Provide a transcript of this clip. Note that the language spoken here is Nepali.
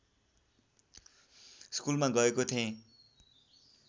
स्कुलमा गएको थेँ